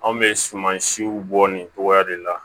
Anw bɛ suman siw bɔ nin cogoya de la